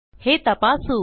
हे तपासू